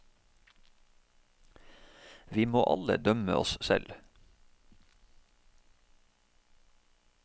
Vi må alle dømme oss selv.